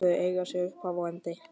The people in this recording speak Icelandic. Þau eiga sér upphaf og endi.